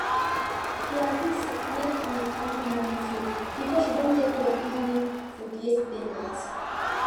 e gree make e handle morning food because she don take care of evening food yesterday night